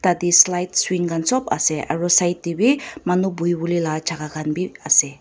tadeh slide swing khan sob ase aro side teh bhi manu buhi wole lah jakah khan bi ase.